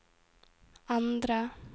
endre